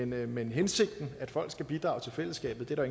men hensigten at folk skal bidrage til fællesskabet er der